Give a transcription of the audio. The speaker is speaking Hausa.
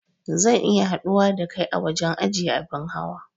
Zan iya haɗuwa da kai a wajen ajiye abin hawa